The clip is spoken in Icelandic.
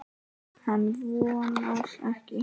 Hann vonar ekki.